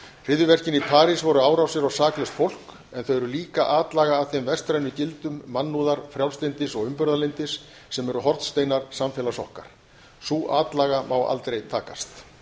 hryðjuverkin í parís voru árásir á saklaust fólk en þau eru líka atlaga að þeim vestrænu gildum mannúðar frjálslyndis og umburðarlyndis sem eru hornsteinar samfélags okkar sú atlaga má aldrei takast